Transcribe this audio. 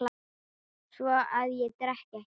Svo að ég drekk ekki.